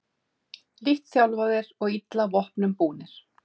Lítt þjálfaðir og illa vopnum búnir